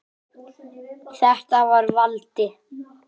Þetta var Valdi.